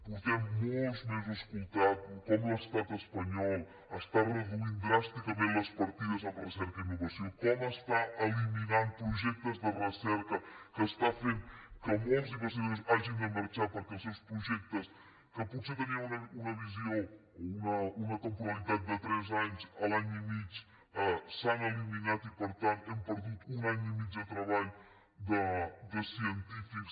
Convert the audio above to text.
fa molts mesos que escoltem com l’estat espanyol està reduint dràsticament les partides en recerca i innovació com està eliminant projectes de recerca que està fent que molts investigadors hagin de marxar perquè els seus projectes que potser tenien una temporalitat de tres anys a l’any i mig s’han eliminat i per tant hem perdut un any i mig de treball de científics